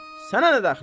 Sənə nə dəxli var?